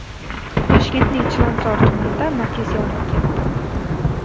Toshkentning Chilonzor tumanida Matiz yonib ketdi.